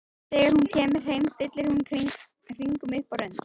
Þegar hún kemur heim stillir hún hringnum upp á rönd.